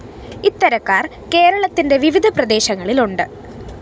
ഇത്തരക്കാര്‍ കേരളത്തിന്റെ വിവിധ പ്രദേശങ്ങളിലുണ്ട്